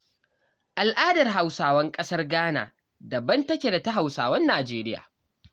Al'adar Hausawan ƙasar Ghana daban take da ta Hausawan Najeriya.